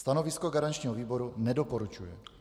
Stanovisko garančního výboru: nedoporučuje.